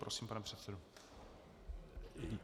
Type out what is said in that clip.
Prosím, pane předsedo.